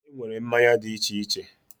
Enwere mmanya di iche iche